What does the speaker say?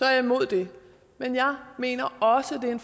jeg imod det men jeg mener også det er en